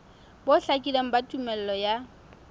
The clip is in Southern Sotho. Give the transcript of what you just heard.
bo hlakileng ba tumello ya